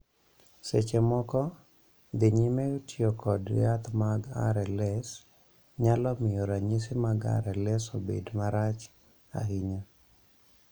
Seche moko, dhi nyime tiyo kod yath mag RLS nyalo miyo ranyisi mag RLS obed marach ahinya.